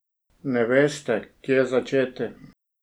Ne veste, kje začeti?